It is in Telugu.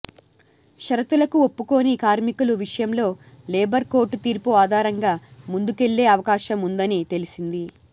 షరతులకు ఒప్పుకోని కార్మికుల విషయంలో లేబర్ కోర్టు తీర్పు ఆధారంగా ముందుకెళ్లే అవకాశం ఉందని తెలిసింది